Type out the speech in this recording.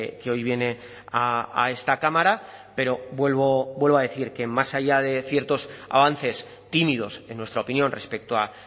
que hoy viene a esta cámara pero vuelvo a decir que más allá de ciertos avances tímidos en nuestra opinión respecto a